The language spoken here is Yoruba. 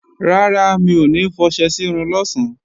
Rárá, mi ò ní fọṣẹ sírun lọ̀sán